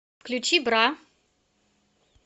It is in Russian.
включи бра